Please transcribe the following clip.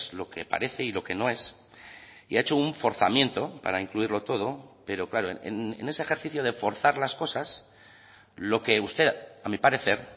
lo que parece y lo que no es y ha hecho un forzamiento para incluirlo todo pero claro en ese ejercicio de forzar las cosas lo que usted a mi parecer